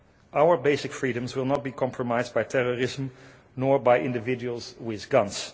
Our basic freedoms will not be compromised by terrorism nor by individuals with guns.